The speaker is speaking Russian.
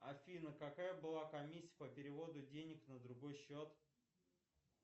афина какая была комиссия по переводу денег на другой счет